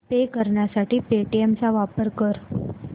पे करण्यासाठी पेटीएम चा वापर कर